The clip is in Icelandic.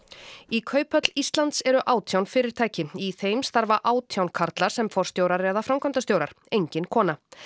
í Kauphöll Íslands eru átján fyrirtæki í þeim starfa átján karlar sem forstjórar eða framkvæmdastjórar engin kona